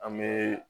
An bee